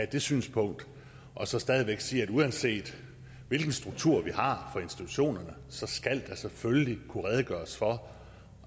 det synspunkt og så stadig væk sige at uanset hvilken struktur vi har for institutionerne så skal der selvfølgelig kunne redegøres for